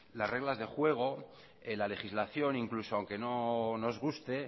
las reglas del juego la legislación incluso aunque no nos guste